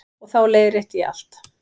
Og þá leiðrétti ég allt.